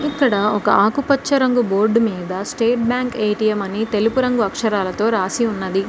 ఇక్కడ ఒక ఆకుపచ్చ రంగు బోర్డు మీద స్టేట్ బ్యాంక్ ఎ_టి_ఎం అని తెలుపు రంగు అక్షరాలతో రాసి ఉన్నది.